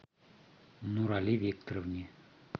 нурали викторовне